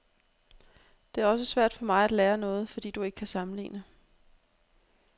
Det er også svært for mig at lære noget, fordi du ikke kan sammenligne.